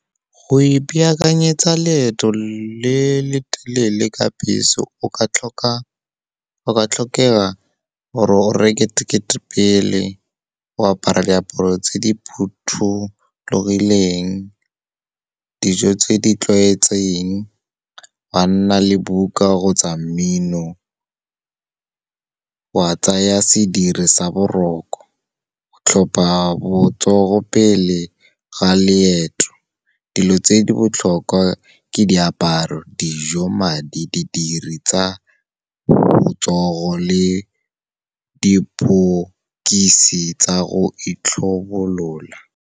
Go ipaakanyetsa leeto le le telele ka bese go ka tlhokega gore o reke tekete pele, o apare diaparo tse di phuthologileng, dijo tse di tlwaetseng, wa nna le buka kgotsa mmino, wa tsaya sediri sa boroko, go tlhopa botsogo pele ga leeto. Dilo tse di botlhokwa ke diaparo, dijo, madi, didiri tsa botsogo le diphokisi tsa go itlhobolola.